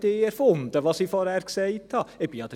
Was ich vorhin gesagt habe, habe nicht erfunden.